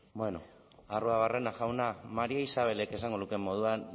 arruabarrena jauna maría isabelek esango lukeen moduan